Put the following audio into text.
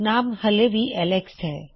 ਨਾਮ ਹਲੇ ਵੀ ਐੱਲਕਸ ਹੈ